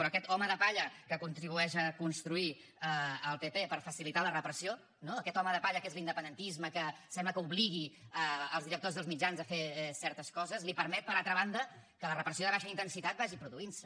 però aquest home de palla que contribueix a construir el pp per facilitar la repressió no aquest home de palla que és l’independentisme que sembla que obligui els directors dels mitjans a fer certes coses li permet per altra banda que la repressió de baixa intensitat vagi produint se